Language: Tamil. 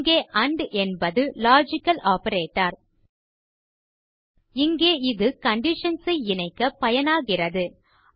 இங்கே ஆண்ட் என்பது லாஜிக்கல் ஆப்பரேட்டர் இங்கே இது கண்டிஷன்ஸ் ஐ இணைக்க பயனாகிறது